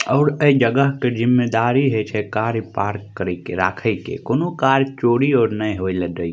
और ए जगह के जिम्मेदारी होय छै कार पार्क करे के राखे के कोनो कार चोरी आर ने होय ले देय --